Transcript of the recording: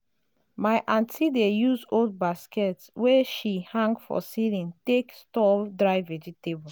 my aunty dey use old basket wey she hang for ceiling take store dry vegetable.